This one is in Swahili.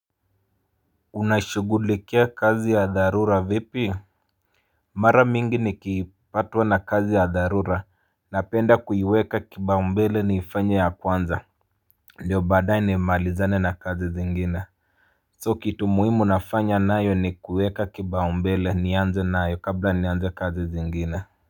Unaishugulikia kazi ya dharura vipi Mara mingi nikipatwa na kazi ya dharura Napenda kuiweka kibaumbele niifanye ya kwanza ndio badae nimaalizane na kazi zingine So kitu muhimu nafanya nayo ni kuweka kibaumbele nianze nayo kabla nianze kazi zingine.